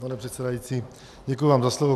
Pane předsedající, děkuji vám za slovo.